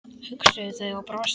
hugsuðu þau og brostu.